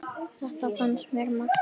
Þetta finnst mér magnað.